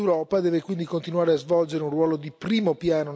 a dimostrare la fattibilità della fusione nucleare.